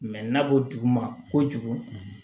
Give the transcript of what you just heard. na ko duguma kojugu